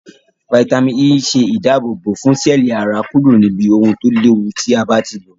Fítàmì E maa se idabobo fun seeli ara kuro nibi ohun to lewu ti a bati lo